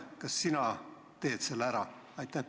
Kas sina teed selle ära?